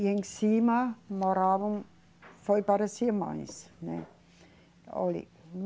E em cima moravam, foi para as irmãs, né. Olhe